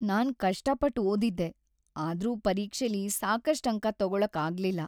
ನಾನ್ ಕಷ್ಟಾಪಟ್ಟ್ ಓದಿದ್ದೆ, ಆದ್ರೂ ಪರೀಕ್ಷೆಲಿ ಸಾಕಷ್ಟ್ ಅಂಕ ತಗೊಳಕ್‌ ಆಗ್ಲಿಲ್ಲ.